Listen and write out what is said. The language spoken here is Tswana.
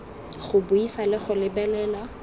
go buisa le go lebelela